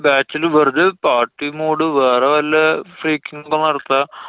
batch ല് വെറുതെ party വേറെ വല്ല freeking ഉം നടത്താം.